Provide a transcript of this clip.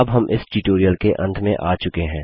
अब हम इस ट्यूटोरियल के अंत में आ चुके हैं